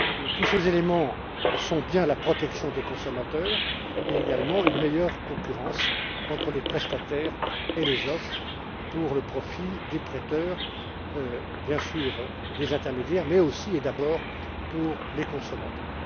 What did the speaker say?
Tous ces éléments relèvent bien de la protection des consommateurs et également d'une meilleure concurrence entre les prestataires et les offres au profit des prêteurs, bien sûr des intermédiaires mais, aussi et surtout, des consommateurs.